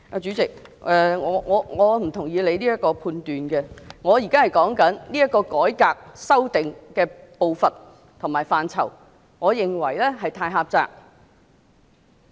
主席，我不認同你的判斷，我現在是談論這個改革的修正步伐及範疇，而我認為是過於狹窄。